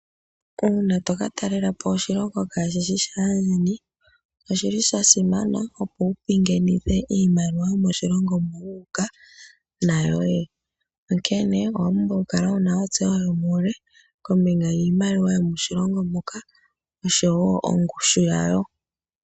Uuna toka talela po oshilongo kaashi shi shaandjeni, oshili sha simana opo pingenithe iimaliwa yomoshilongo moka wuuka nayoye, onkene owa pumbwa oku kala wuna ontseyo yomuule kombinga yiimaliwa yomoshilongo moka, oshowo ongushu yayo.